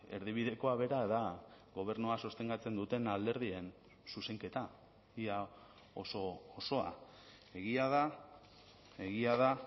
erdibidekoa bera da gobernua sostengatzen duten alderdien zuzenketa ia oso osoa egia da egia da